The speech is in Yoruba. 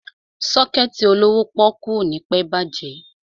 Sọ́kẹ̀tì olówó pọ́ọ́kú ò ní pẹ́ bàjẹ́.